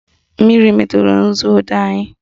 Mmiri meturu nzuodee anyị